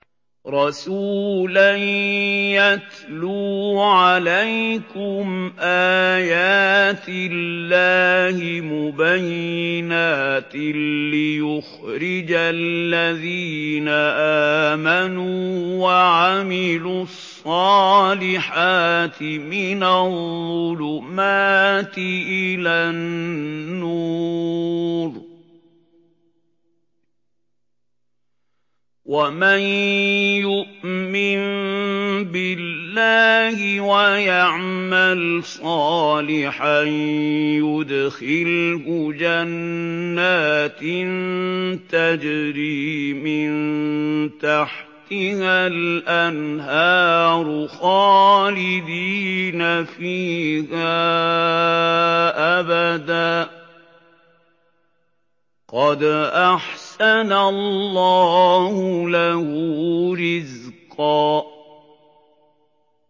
رَّسُولًا يَتْلُو عَلَيْكُمْ آيَاتِ اللَّهِ مُبَيِّنَاتٍ لِّيُخْرِجَ الَّذِينَ آمَنُوا وَعَمِلُوا الصَّالِحَاتِ مِنَ الظُّلُمَاتِ إِلَى النُّورِ ۚ وَمَن يُؤْمِن بِاللَّهِ وَيَعْمَلْ صَالِحًا يُدْخِلْهُ جَنَّاتٍ تَجْرِي مِن تَحْتِهَا الْأَنْهَارُ خَالِدِينَ فِيهَا أَبَدًا ۖ قَدْ أَحْسَنَ اللَّهُ لَهُ رِزْقًا